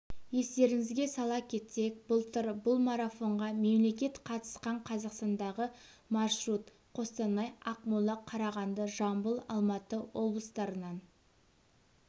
естеріңізге сала кетсек былтыр бұл марафонға мемлекет қатысқан қазақстандағы маршрут қостанай ақмола қарағанды жамбыл алматы облыстарынан